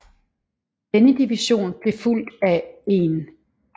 Denne division blev fulgt af 1